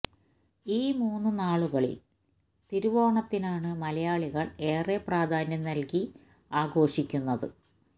ഈ മൂന്നു നാളുകളില് തിരുവോണത്തിനാണ് മലയാളികള് ഏറെ പ്രാധാന്യം നല്കി ആഘോഷിക്കുന്നത്